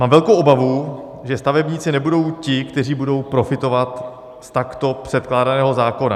Mám velkou obavu, že stavebníci nebudou ti, kteří budou profitovat z takto předkládaného zákona.